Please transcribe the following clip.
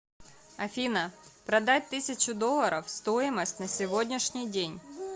афина продать тысячу долларов стоимость на сегодняшний день